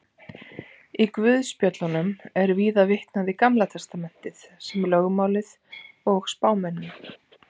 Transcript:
Í guðspjöllunum er víða vitnað í Gamla testamentið sem lögmálið og spámennina.